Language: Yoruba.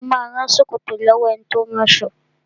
Mo ma rán ṣòkòtò lọ́wọ́ ẹni tí ó ń ránṣọ